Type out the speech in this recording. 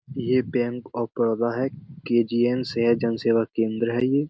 ये bank of Baroda है। KGN. से है जन सेवा केंद्र है ये।